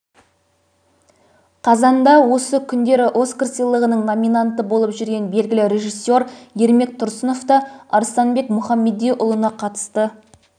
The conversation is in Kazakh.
қазанда осы күндері оскар сыйлығының номинанты болып жүрген белгілі режиссер ермек тұрсынов та арыстанбек мұхамедиұлына қатысты